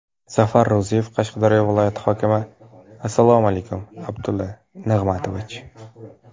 Zafar Ro‘ziyev, Qashqadaryo viloyati hokimi: Assalomu alaykum, Abdulla Nig‘matovich.